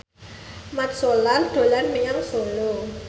Mat Solar dolan menyang Solo